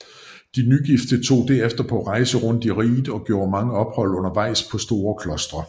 De nygifte tog derefter på en rejse rundt i riget og gjorde mange ophold undervejs på store klostre